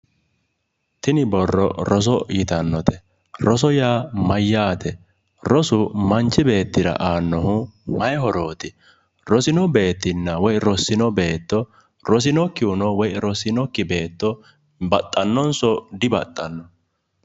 Tini borro roso yitannote roso yaa mayyaate? rosu manchi beettira aannohu mayii horooti? rosino beettinna woyi rossino beetto rosinokkihuno woyi rossinokki beetto baxxannonso dibaxxanno?